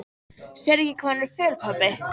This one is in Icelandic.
Sérðu ekki hvað hún er föl, pabbi?